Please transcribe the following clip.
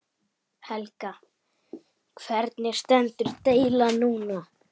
Helga: Hvernig stendur deilan núna?